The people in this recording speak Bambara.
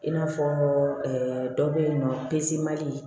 I n'a fɔ dɔ bɛ yen nɔ pesemali